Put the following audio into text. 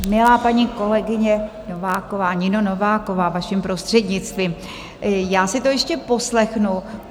Milá paní kolegyně Nováková, Nino Nováková, vaším prostřednictvím, já si to ještě poslechnu.